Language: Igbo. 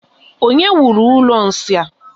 Onye wuru ụlọ nsị a?